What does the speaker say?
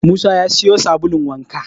Musa ya siyo sabulun wanka